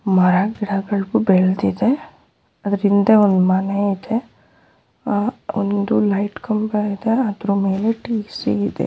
ಮರ ಗಿಡಗಳು ಬೆಳ್ದಿದೆ ಅದ್ರ್ ಹಿಂದೆ ಒಂದ್ ಮನೆ ಇದೆ ಆಹ್ ಒಂದು ಲೈಟ್ ಕಂಬ ಇದೆ ಅದ್ರ್ ಮೇಲೆ ಇದೆ.